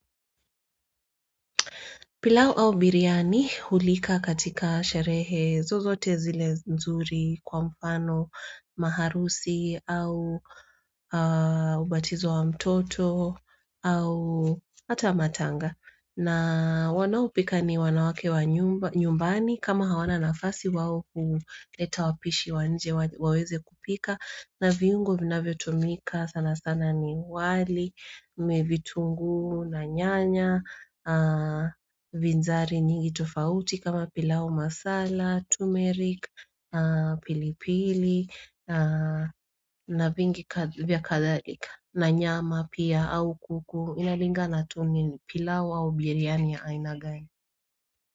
Pilau au biriani hulika katika sherehe zozote zile nzuri kwa mfano maharusi au ubatizo wa mtoto au hata wa matanga. Na wanaopika ni wanawake wa nyumbani kama hawana nafasi wao kuleta wapishi wanje waweze kupika. Na viungo vina vyotumika sana sana ni wali, mevitunguu na nyanya, vizari nyingi tofauti kama pilau masala, tumerik, pilipili, na vingi kathalika na nyama pia au kuku, inalingana tuni ni pilau au biryani ya ainagani.